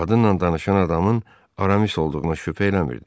Qadınla danışan adamın Aramis olduğunu şübhə eləmirdi.